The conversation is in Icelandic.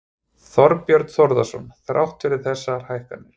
Þorbjörn Þórðarson: Þrátt fyrir þessar hækkanir?